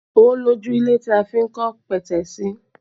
Ó lójú ilẹ̀ tí a fi n kọ́ petesi